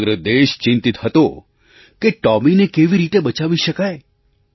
સમગ્ર દેશ ચિંતિત હતો કે ટૉમીને કેવી રીતે બચાવી શકાય